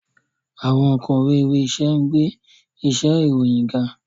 Awọn onkọwe iwe-aṣẹ ngbe iṣe iroyin ga.